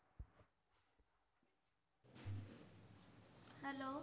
Hello